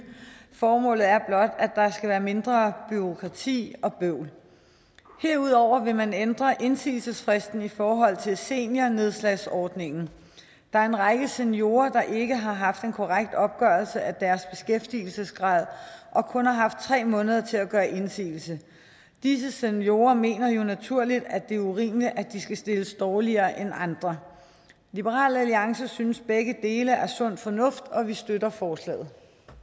formålet er blot at der skal være mindre bureaukrati og bøvl herudover vil man ændre indsigelsesfristen i forhold til seniornedslagsordningen der er en række seniorer der ikke har haft en korrekt opgørelse af deres beskæftigelsesgrad og kun har haft tre måneder til at gøre indsigelse disse seniorer mener jo naturligt at det er urimeligt at de skal stilles dårligere end andre liberal alliance synes begge dele er sund fornuft og vi støtter forslaget